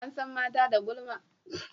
an san mata da gulma